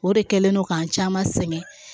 O de kɛlen no k'an caman sɛgɛn